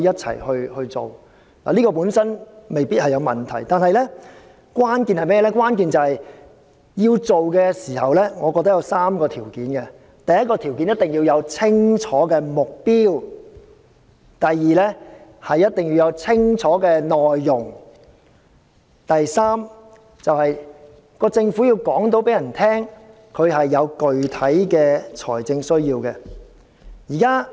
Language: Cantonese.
此舉本身未必有問題，但我認為關鍵是實行時必須滿足3項條件：第一，目標一定要清晰；第二，內容一定要清楚；第三，政府必須能夠說明具體的財政需要。